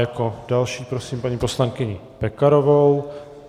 Jako další prosím paní poslankyni Pekarovou.